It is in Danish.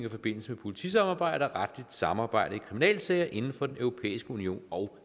i forbindelse med politisamarbejde og retligt samarbejde i kriminalsager inden for den europæiske union og